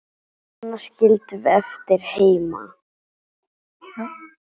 Hana skildum við eftir heima.